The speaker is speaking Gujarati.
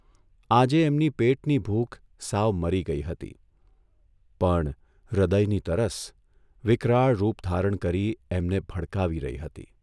આજે એમની પેટની ભૂખ સાવ મરી ગઇ હતી, પણ હૃદયની તરસ વિકરાળરૂપ ધારણ કરી એમને ભડકાવી રહી હતી.